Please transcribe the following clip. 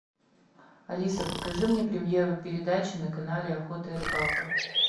алиса покажи мне премьеру передачи на канале охота и рыбалка